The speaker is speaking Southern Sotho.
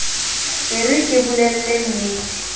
e re ke o bolellennete